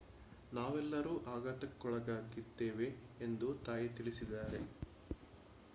ನಾವೆಲ್ಲರೂ ಆಘಾತಕ್ಕೊಳಗಾಗಿದ್ದೇವೆ ಎಂದು ತಾಯಿ ತಿಳಿಸಿದ್ದಾರೆ